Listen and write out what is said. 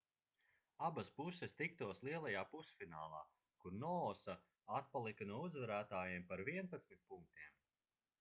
abas puses tiktos lielajā pusfinālā kur noosa atpalika no uzvarētājiem par 11 punktiem